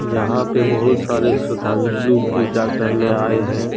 यहां पे बहुत सारे श्रद्धांजलु पूजा करने आए हैं।